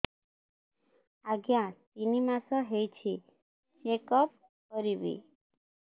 ଆଜ୍ଞା ତିନି ମାସ ହେଇଛି ଚେକ ଅପ କରିବି